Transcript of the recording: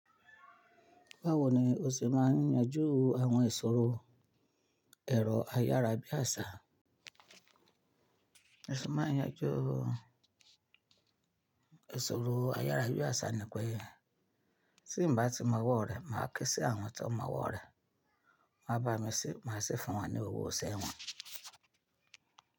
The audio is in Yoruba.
Báwo ni o ṣe máa ń yanjú àwọn ìṣòro ẹ̀rọ ayárabíàṣá? Bi mo sevmáa ń yanjú ìṣòro ayárabíàṣá nì pé tí n bá ti mọ owọ́ rẹ̀, màá ke sí àwọn tí wọn mọ owọ́ rẹ̀. Wọn á bá mi ṣe, màá sì fún wọn ní owó iṣẹ́ wọn.